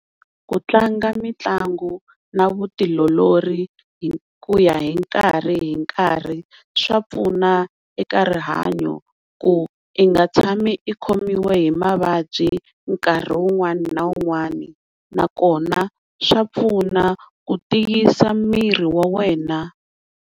Ku tlanga mitlangu na vutiolori hikuya hi nkarhi hi nkarhi swa pfuna eka rihanyo ku i nga tshami i khomiwa hi mavabyi nkarhi wun'wana na wun'wana nakona swa pfuna ku tiyisa miri wa wena.